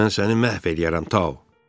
Mən səni məhv eləyərəm Tao.